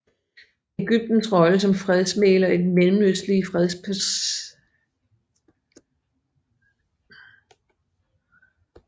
Egyptens rolle som fredsmægler i den mellemøstlige fredsproces giver landet en meget stor betydning i regionen